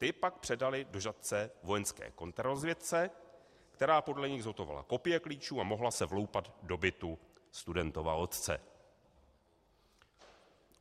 Ty pak předali do Žatce vojenské kontrarozvědce, která podle nich zhotovila kopie klíčů a mohla se vloupat do bytu studentova otce.